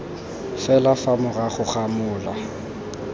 fela fa morago ga mola